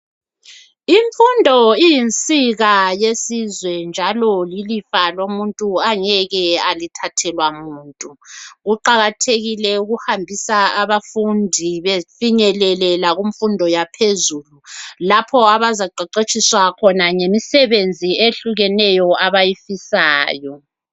Imfundo iyinsika yesizwe njalo yilifa lomuntu angeke alithathelwa muntu kuqakathekile ukuhambisa abafundi befinyelele lakumfundo yaphezulu lapho abazaqeqetshiswa yimisebenzi eyehlukeneyo abayifisayo.